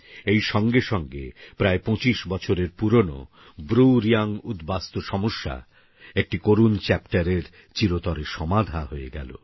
এই সঙ্গে সঙ্গে প্রায় ২৫ বছরের পুরানো ব্রুরিয়াং উদ্বাস্তু সমস্যা একটি করুণ চ্যাপ্টারের চিরতরে সমাধা হয়ে গেলো